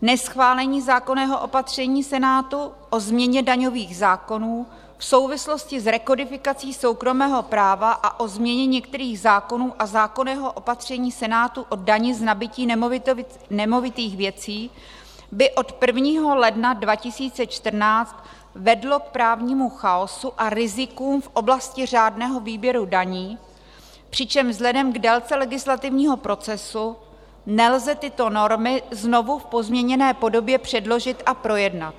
Neschválení zákonného opatření Senátu o změně daňových zákonů v souvislosti s rekodifikací soukromého práva a o změně některých zákonů a zákonného opatření Senátu o dani z nabytí nemovitých věcí by od 1. ledna 2014 vedlo k právnímu chaosu a rizikům v oblasti řádného výběru daní, přičemž vzhledem k délce legislativního procesu nelze tyto normy znovu v pozměněné podobě předložit a projednat.